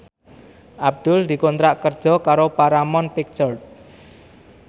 Abdul dikontrak kerja karo Paramount Picture